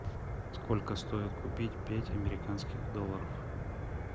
сколько стоит купить пять американских долларов